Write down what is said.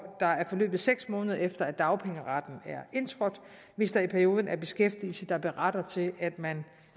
der er forløbet seks måneder efter dagpengeretten er indtrådt hvis der i perioden er beskæftigelse der berettiger til at man